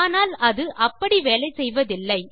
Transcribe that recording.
ஆனால் அது அப்படி வேலை செய்வதில்லை